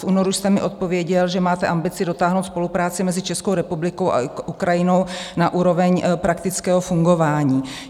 V únoru jste mi odpověděl, že máte ambici dotáhnout spolupráci mezi Českou republikou a Ukrajinou na úroveň praktického fungování.